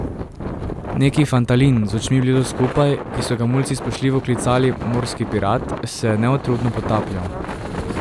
Neki fantalin z očmi blizu skupaj, ki so ga mulci spoštljivo klicali Morski pirat, se je neutrudno potapljal.